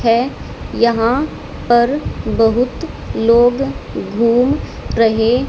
है यहां पर बहुत लोग घूम रहे--